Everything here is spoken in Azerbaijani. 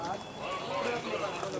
Qadan buraxın.